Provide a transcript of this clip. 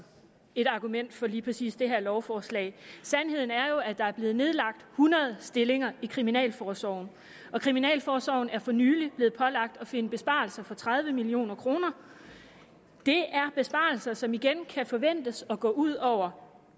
et argument for lige præcis det her lovforslag sandheden er jo at der er blevet nedlagt hundrede stillinger i kriminalforsorgen og kriminalforsorgen er for nylig blevet pålagt at finde besparelser for tredive million kroner det er besparelser som igen kan forventes at gå ud over